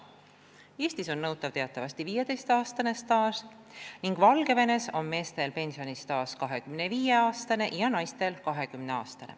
Eestis on nõutav teatavasti 15 aasta pikkune staaž ning Valgevenes on meestelt nõutav pensionistaaž 25 aastat ja naistelt 20 aastat.